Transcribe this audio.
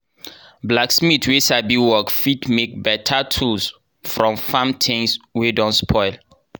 blacksmith wey sabi work fit make beta tools from farm things wey don spoil.